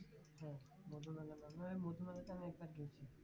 মধুমেলা না আমি ওই মধুমেলাটা অনেকবার গেছি